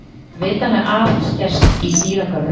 Þetta hefur vitanlega aðeins gerst í dýragörðum.